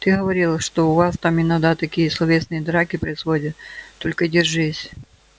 ты говорил что у вас там иногда такие словесные драки происходят только держись